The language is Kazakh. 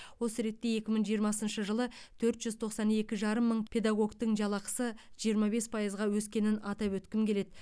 осы ретте екі мың жиырмасыншы жылы төрт жүз тоқсан екі жарым мың педагогтің жалақысы жиырма бес пайызға өскенін атап өткім келеді